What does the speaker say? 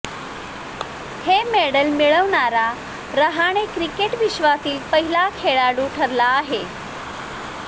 हे मेडल मिळवणारा रहाणे क्रिकेट विश्वातील पहिला खेळाडू ठरला आहे